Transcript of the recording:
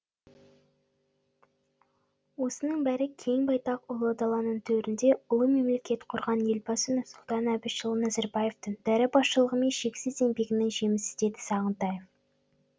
осының бәрі кең байтақ ұлы даланың төрінде ұлы мемлекет құрған елбасы нұрсұлтан әбішұлы назарбаевтың дара басшылығы мен шексіз еңбегінің жемісі деді сағынтаев